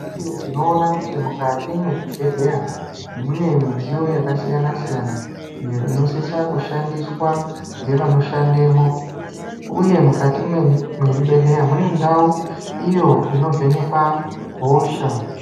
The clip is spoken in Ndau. Tinoona kuti mukati mwezvibhedhleya mune midziyo yakasiyana siyana iyo inosisa kushandiswa ngevanoshandemwo uye mukati mwezvibhedhleya mune ndau iyo inovhenekwa hosha.